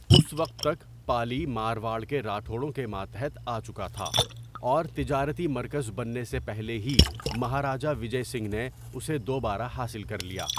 اس وقت تک، پالی مارواڑ کے راٹھوڑوں کے ماتحت آچکا تھا، اور تجارتی مرکز بننے سے پہلے ہی مہاراجہ وجے سنگھ نے اسے دوبارہ حاصل کر لیا۔